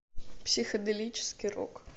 психоделический рок